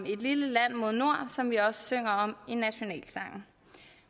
lille land mod nord som vi også synger om i nationalsangen